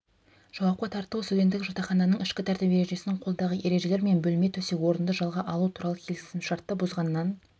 жауапқа тарту студенттік жатақхананың ішкі тәртіп ережесін қолдағы ережелер мен бөлме төсек орынды жалға алу туралы келісімшартты бұзғаннан